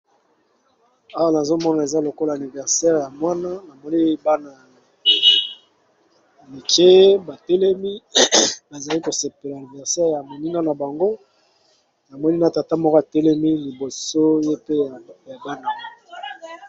Awa nazomona eza lokola aniversaire ya mwana amoleli bana ya mike batelemi bazali kosepela aniversaire ya monina na bango na monina tata moko atelemi liboso ye pe ya bana.